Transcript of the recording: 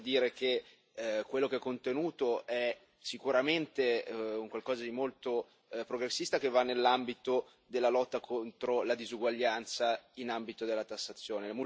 Devo dire che quello che è contenuto è sicuramente un qualcosa di molto progressista, che va nell'ambito della lotta contro la disuguaglianza in ambito della tassazione.